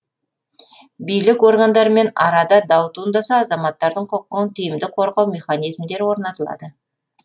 билік органдарымен арада дау туындаса азаматтардың құқығын тиімді қорғау механизмдері орнатылады